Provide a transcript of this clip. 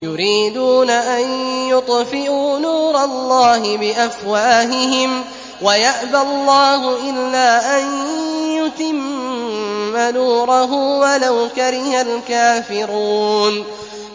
يُرِيدُونَ أَن يُطْفِئُوا نُورَ اللَّهِ بِأَفْوَاهِهِمْ وَيَأْبَى اللَّهُ إِلَّا أَن يُتِمَّ نُورَهُ وَلَوْ كَرِهَ الْكَافِرُونَ